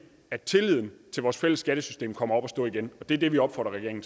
at tilliden til vores fælles skattesystem kommer op at stå igen og det er det vi opfordrer regeringen